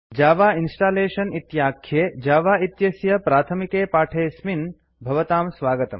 Java installation इत्याख्ये Java इत्यस्य प्रअथमिकपाठेऽस्मिन् भवतां स्वागतम्